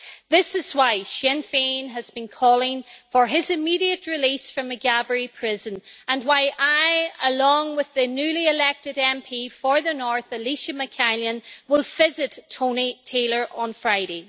This is why Sinn Féin has been calling for his immediate release from Maghaberry Prison and why I, along with the newly elected MP for the North, Elisha McCallion, will visit Tony Taylor on Friday.